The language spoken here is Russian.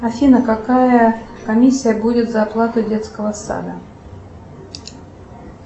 афина какая комиссия будет за оплату детского сада